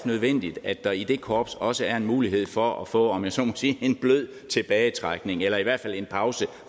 nødvendigt at der i det korps også er en mulighed for at få om jeg så må sige en blød tilbagetrækning eller i hvert fald en pause